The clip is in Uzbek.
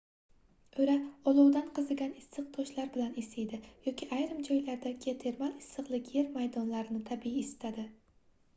oʻra olovdan qizigan issiq toshlar bilan isiydi yoki ayrim joylarda geotermal issiqlik yer maydonlarini tabiiy isitadi